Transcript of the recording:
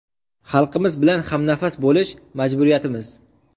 Xalqimiz bilan hamnafas bo‘lish – majburiyatimiz!